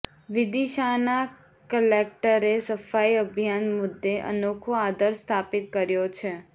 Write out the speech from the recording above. વિદિશાના કલેક્ટરે સફાઇ અભિયાન મુદ્દે અનોખો આદર્શ સ્થાપિત કર્યો છે